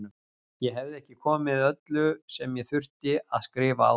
Ég hefði ekki komið öllu sem ég þurfti að skrifa á það.